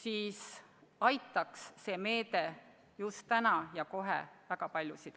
Aga väga paljusid aitaks see meede just praegu ja kohe tuntavalt.